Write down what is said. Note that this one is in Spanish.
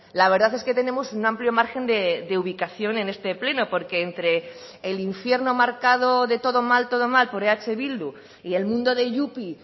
la verdad es que tenemos un amplio margen de ubicación en este pleno porque entre el infierno marcado de todo mal todo mal por eh bildu y el mundo de yupi